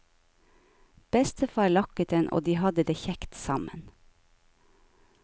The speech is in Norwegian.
Bestefar lakker den og de har det kjekt sammen.